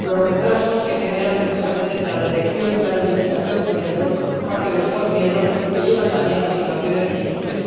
Los retrasos que se generan precisamente entre la detección y la notificación por parte de los Estados miembros, que llevan también a situaciones difíciles.